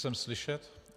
Jsem slyšet?